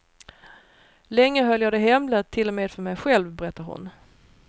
Länge höll jag det hemligt till och med för mej själv, berättar hon.